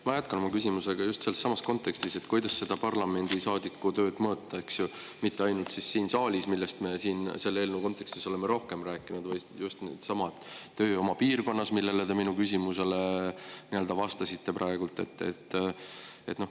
Ma jätkan oma küsimusega just sellessamas kontekstis, kuidas parlamendiliikme tööd mõõta, mitte ainult siin saalis, millest me selle eelnõu kontekstis oleme rohkem rääkinud, vaid ka tööd oma piirkonnas, sellele minu küsimusele te vastasite praegu.